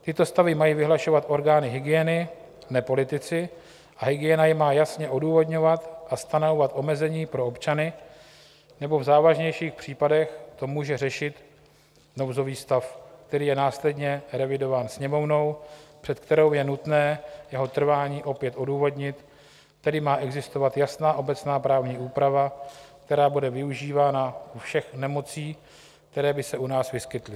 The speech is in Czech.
Tyto stavy mají vyhlašovat orgány hygieny, ne politici, a hygiena je má jasně odůvodňovat a stanovat omezení pro občany, nebo v závažnějších případech to může řešit nouzový stav, který je následně revidován Sněmovnou, před kterou je nutné jeho trvání opět odůvodnit, tedy má existovat jasná obecná právní úprava, která bude využívána u všech nemocí, které by se u nás vyskytly.